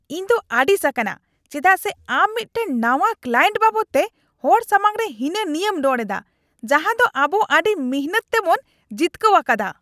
ᱤᱧ ᱫᱚ ᱟᱹᱲᱤᱥ ᱟᱠᱟᱱᱟ, ᱪᱮᱫᱟᱜ ᱥᱮ ᱟᱢ ᱢᱤᱫᱴᱟᱝ ᱱᱟᱶᱟ ᱠᱞᱟᱭᱮᱱᱴ ᱵᱟᱵᱚᱫᱛᱮ ᱦᱚᱲ ᱥᱟᱢᱟᱝᱨᱮ ᱦᱤᱱᱟᱹᱱᱤᱭᱟᱹᱢ ᱨᱚᱲ ᱮᱫᱟ ᱡᱟᱦᱟ ᱫᱚ ᱟᱵᱚ ᱟᱹᱰᱤ ᱢᱤᱱᱦᱟᱹᱛ ᱛᱮᱵᱚᱱ ᱡᱤᱛᱠᱟᱹᱣ ᱟᱠᱟᱫᱟ ᱾